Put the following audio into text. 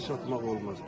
Daş atmaq olmaz.